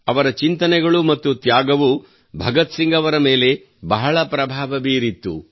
ಅವರ ಚಿಂತನೆಗಳು ಮತ್ತು ತ್ಯಾಗವು ಭಗತ್ ಸಿಂಗ್ ಅವರ ಮೇಲೆ ಬಹಳ ಪ್ರಭಾವ ಬೀರಿತು